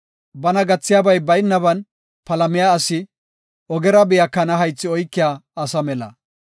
Bana gathiyabay baynaban palamiya asi ogera biya kana haythi oykiya asa mela.